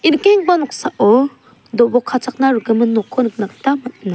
ia nikenggipa noksao do·bok kachakna rikgimin nokko nikna gita man·a.